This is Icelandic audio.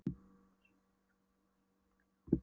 En hvers vegna ertu kominn til landsins? hélt Nína áfram.